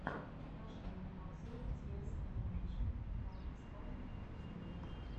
покажи мне обзор диэс анимэйшн хартстоун в ютьюбе